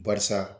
Barisa